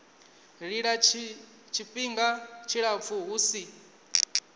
lila tshifhinga tshilapfu hu si